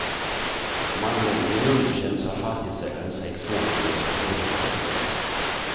Om anläggningen underkänns har fastighetsägaren sex månader på sig att åtgärda felet.